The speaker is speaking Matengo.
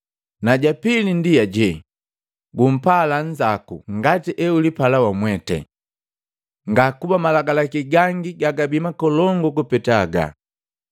Na ja pili ndi aje, ‘Gumpala nzako ngati eulipala wamwete.’ Ngakuba malagi gangi gagabi makolongu kupeta haga.”